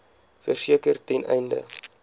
verseker ten einde